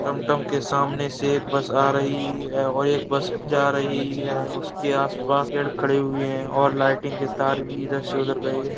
टमटम के सामने से एक बस आ रही है और एक बस जा रही है उसके आस-पास पेड़ खड़े हुए है और लाइटिंग के तार भी इधर से उधर गए है।